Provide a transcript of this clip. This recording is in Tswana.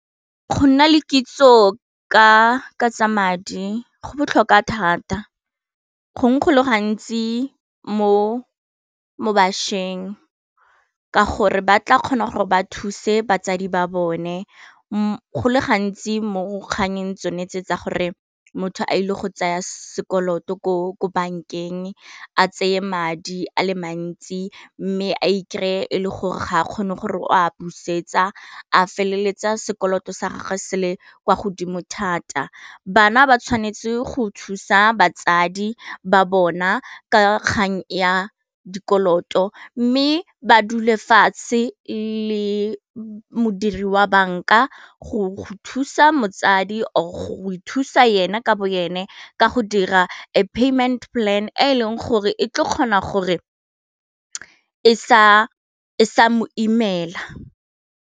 Go nna le kitso ka tsa madi go botlhokwa thata gongwe go le gantsi mo bašweng ka gore ba tla kgona gore ba thuse batsadi ba bone go le gantsi mo kganyeng tsone tse tsa gore motho a ile go tsaya sekoloto ko bankeng a tseye madi a le mantsi, mme a ikry-e gore ga a kgone gore o a busetsa a feleletsa sekoloto sa gagwe se le kwa godimo thata, bana ba tshwanetse go thusa batsadi ba bona ka kgang ya dikoloto mme ba dule fatshe le modiri wa banka go thusa motsadi go e thusa ena ka bo ene ka go dira a payment plan e leng gore e tlo kgona gore e sa mo imela.